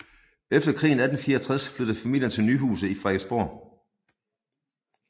Efter krigen 1864 flyttede familien til Nyhuse i Frederiksborg